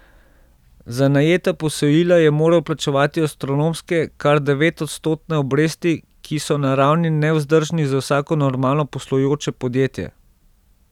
Za najeta posojila je moral plačevati astronomske, kar devetodstotne obresti, ki so na ravni nevzdržnih za vsako normalno poslujoče podjetje.